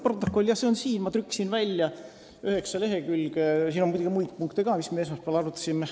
Protokoll on jah – see on siin, ma trükkisin selle välja – üheksa lehekülge pikk ja selles on muidugi ka muid punkte, mida me esmaspäeval arutasime.